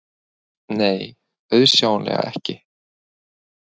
Nei, auðsjáanlega ekki.